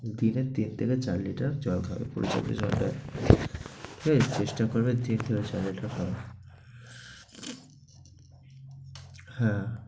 দিনে তিন থেকে চার liter জল খাবে। পর্যাপ্ত জল চেষ্টা করবে, ঠিক হ্যাঁ